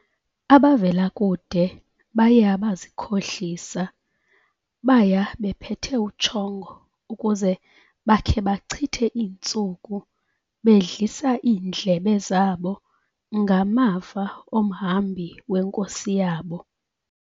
Abavela kude baye abazikhohlisa, baya bephethe utshongo ukuze bakhe bachithe iintsuku bedlisa iindlebe zabo ngamavo omhambi wenkosi yabo.